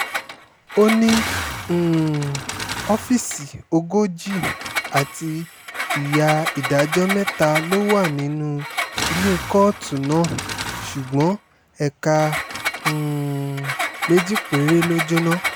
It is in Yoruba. ó ní um ọ́fíìsì ogójì àti ìyá ìdájọ́ mẹ́ta ló wà nínú ilé kóòtù náà ṣùgbọ́n ẹ̀ka um méjì péré ló jóná